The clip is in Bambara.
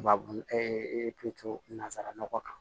Babu to nazara nɔgɔ kan